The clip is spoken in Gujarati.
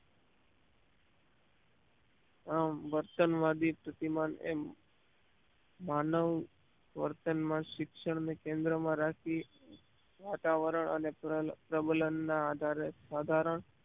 આમ વર્તનવાદી સ્થિતિમાં એ માનવ વર્તનમાં શિક્ષણને કેન્દ્રમાં રાખી વાતાવરણ અને પ્રબલન ના આધારે સાધારણ